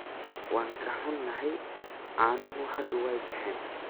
Waan ka xunnahay, caanuhu hadda waa baxeen.